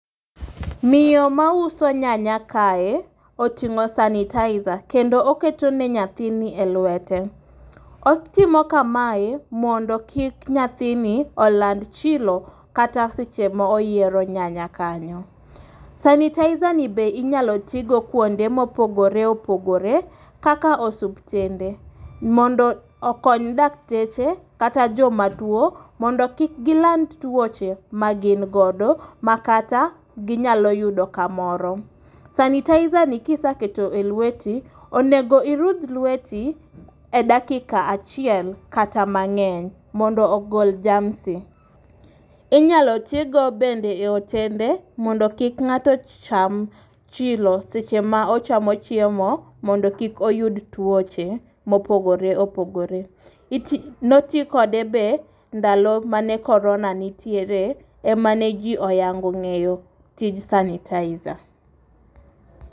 Miyo mauso nyanya kae oting'o sanitizer kendo oketo ne nyathini e lwete. Otimo kamae mondo kik nyathini oland chilo kata seche ma oyiero nyanya kanyo. Sanitizer ni be inyalo tigo kuonde mopogore opogore kaka osuptende mondo okony dakteche kata jomatuo mondo kik giland tuoche magin godo makata ginyalo yudo kamoro. Sanitizer ni ka iseketo e lweti onego irudh lweti e dakika achiek kata mang'eny mondo ogol jamsi. Inyalo ti go bende e otende mondo kik ng'ato ocham chilo seche ma ochamo chiemo mondo kik oyud tuoche mopogore opogore, noti kode be ndalo mane korona nitie ema ne ji ohango ng'eyo tij sanitizer